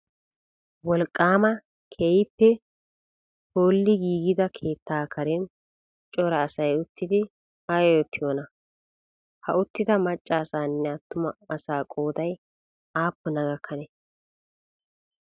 Wolqqaama keehippe phooli giigida keettaa karen cora asayi uttidi ayi oottiyoonaa? Ha uttida macca asanne attuma asa qooday aappuna gakkanee?